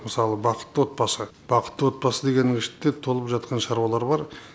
мысалы бақытты отбасы бақытты отбасы дегеннің ішінде толып жатқан шаруалар бар